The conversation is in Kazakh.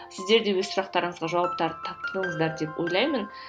сіздер де өз сұрақтарыңызға жауаптар таптыңыздар деп ойлаймын